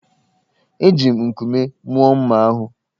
Eji m nkume mụọ mma ahụ